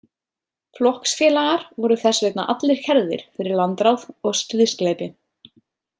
Flokksfélagar voru þess vegna allir kærðir fyrir landráð og stríðsglæpi.